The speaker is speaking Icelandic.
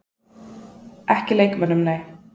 Ekki leikmönnum, nei.